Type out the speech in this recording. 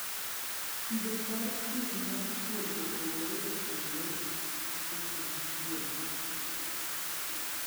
Kido mar kwiri mar thuol opogore opogore e kind thuol.